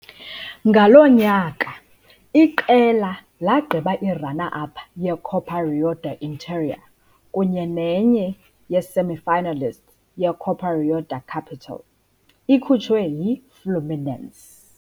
Ngaloo nyaka, iqela lagqiba i-runner-up ye-Copa Rio do Interior kunye nenye ye-semifinalists ye-Copa Rio da Capital, ikhutshwe yi-Fluminense.